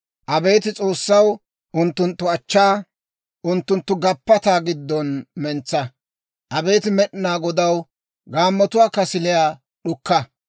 Abeet S'oossaw, unttunttu achchaa unttunttu gappataa giddon mentsa; abeet Med'inaa Godaw, gaammotuwaa kasiliyaa d'ukka.